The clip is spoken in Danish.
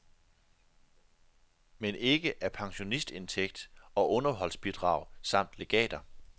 Men ikke af pensionsindtægter og underholdsbidrag samt legater.